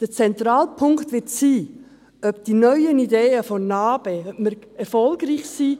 Der zentrale Punkt wird sein, ob wir mit den neuen Ideen der NA-BE erfolgreich sein werden;